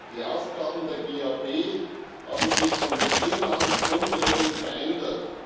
Die Aufgaben der GAP haben sich von Beginn an grundlegend verändert.